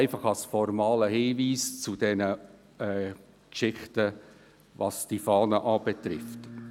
Dies als formaler Hinweis zur Geschichte um die Gesetzesfahnen.